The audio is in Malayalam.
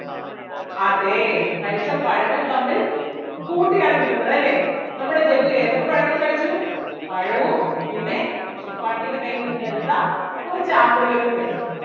അതേ കഴിച്ച പഴങ്ങൾ തമ്മിൽ കൂട്ടി ആണ് കിട്ടുന്നത് അല്ലേ നമ്മുടെ ജഗ്ഗു ഏതൊക്കെ പഴങ്ങൾ കഴിച്ചു പഴവും പിന്നെ ശുപ്പാണ്ടിടെ കയ്യിൽ നിന്ന് എടുത്ത കുറച്ച് ആപ്പിളുകളും കഴിച്ചു.